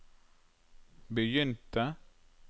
begynte